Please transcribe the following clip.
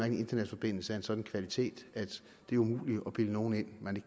en internetforbindelse af en sådan kvalitet at det er umuligt at bilde nogen ind at man